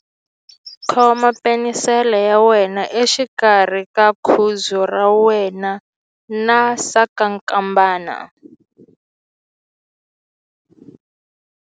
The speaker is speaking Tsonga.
Khoma penisele ya wena exikarhi ka khudzu ra wena na sasankambana.